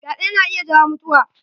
Fyaɗe na iya jawo mutiwa.